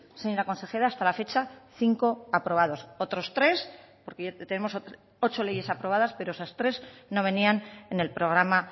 señora consejera hasta la fecha cinco aprobados otros tres porque tenemos ocho leyes aprobadas pero esas tres no venían en el programa